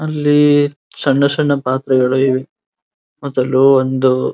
ಅಲ್ಲಿ ಸಣ್ಣಸಣ್ಣ ಪಾತ್ರೆಗಳು ಇವೆ ಮೊದಲು ಒಂದು --